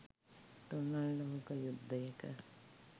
තුන්වන ලෝක යුද්ධයක